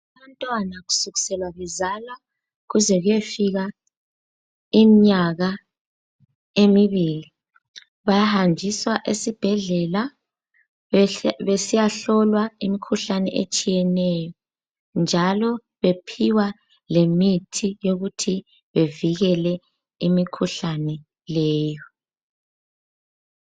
Umntwana kusukisela kuzalwa kuze kuyefika imnyaka emibili bayahanjiswa esibhedlela besiyahlolwa imikhuhlane etshiyeneyo, njalo bephiwa lemithi yokuthi bevikele imikhuhlane leyo.